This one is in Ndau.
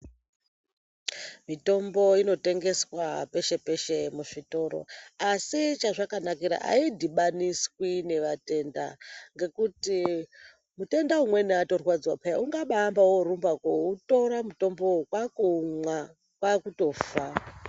Mitombo inotengeswa peshe peshe muzvitoro asi chazvakanakira aidhibaniswi nevatenda ngekuti mutenda umweni atorwadziwa peya ungambaorumba koutora mutombowo kwakutoumwa kwakutofa.